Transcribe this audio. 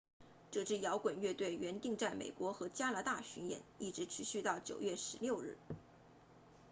这支摇滚乐队原定在美国和加拿大巡演一直持续到9月16日